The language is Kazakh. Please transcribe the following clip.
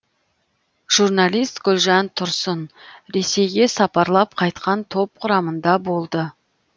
журналист гүлжан тұрсын ресейге сапарлап қайтқан топ құрамында болды